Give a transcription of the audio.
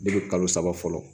kalo saba fɔlɔ